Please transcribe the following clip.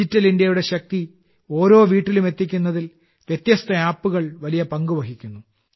digital ഇന്ത്യയുടെ ശക്തി ഓരോ വീട്ടിലും എത്തിക്കുന്നതിൽ വ്യത്യസ്ത ആപ്പുകൾ വലിയ പങ്കുവഹിക്കുന്നു